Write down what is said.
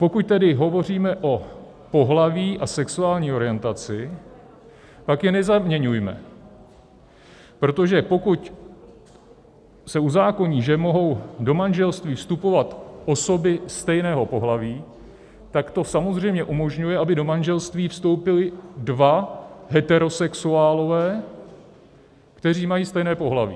Pokud tedy hovoříme o pohlaví a sexuální orientaci, pak je nezaměňujme, protože pokud se uzákoní, že mohou do manželství vstupovat osoby stejného pohlaví, tak to samozřejmě umožňuje, aby do manželství vstoupili dva heterosexuálové, kteří mají stejné pohlaví.